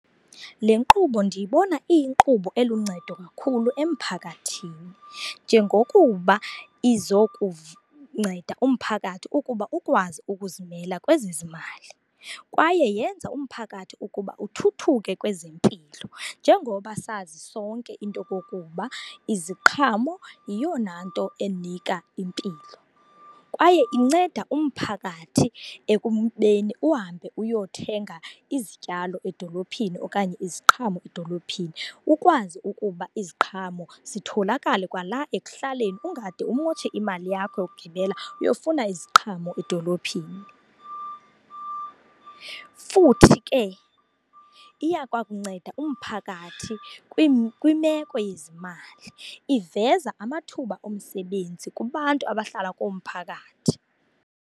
Le nkqubo ndiyibona iyinkqubo eluncedo kakhulu emphakathini njengokuba izokunceda umphakathi ukuba ukwazi ukuzimela kwezezimali. Kwaye yenza ukuba umphakathi uthuthuke kwezempilo njengoba sazi sonke into yokokuba iziqhamo yiyona nto enika impilo. Kwaye inceda umphakathi ekubeni uhambe uyothenga izityalo edolophini okanye iziqhamo edolophini, ukwazi ukuba iziqhamo zitholokale kwala ekuhlaleni ungade umotshe imali yakho yokugibela uyofuna iziqhamo edolophini. Futhi ke, iya kwakunceda umphakathi kwimeko yezimali. Iveza amathuba emisebenzi kubantu abahlala komphakathi.